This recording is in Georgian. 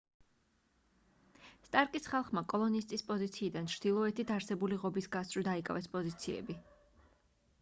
სტარკის ხალხმა კოლონისტის პოზიციიდან ჩრდილოეთით არსებული ღობის გასწვრივ დაიკავეს პოზიციები